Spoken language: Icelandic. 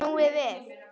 Snúið við.